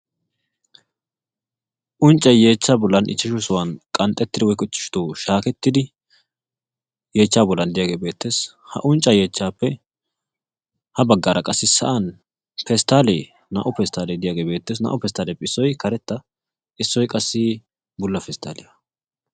unccay yeechchaa bolan ichchashu sohuwan shaahettidi woykko qanxxettidi yeechchaa bolan diyaagee beetees.